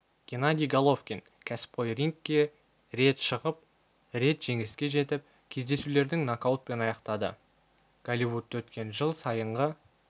геннадий головкин кәсіпқой рингке рет шығып рет жеңіске жетіп кездесулердің нокаутпен аяқтады голливудта өткен жыл сайынғы